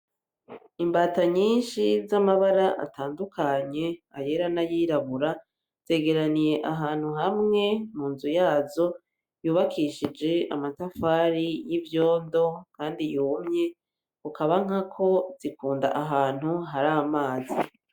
Imbata nyinshi z'amabara atandukanye ayera n'ayirabura zegeraniye ahantu hamwe mu nzu yazo yubakishije amatafari y'ivyondo kandi yumye ukaba nkako zikunda ahantu hari amazi.